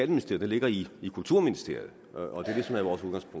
den ligger i kulturministeriet men